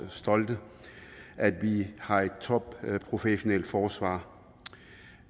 stolte at vi har et topprofessionelt forsvar